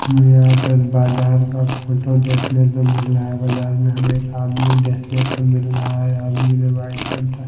यहां पर बाजार का फोटो देखने को मिल रहा है बाजार में हमें एक आदमी देखने को मिल रहा है आदमी ने व्हाइट रंग का--